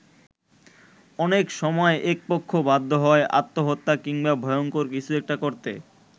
অনেক সময় একপক্ষ বাধ্য হয় আত্মহত্যা কিংবা ভয়ঙ্কর কিছু একটা করতে।